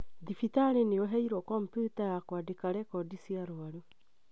Thibitarĩ nĩ ũheirwo kompyuta ya kwandĩka rekodi cia arwaru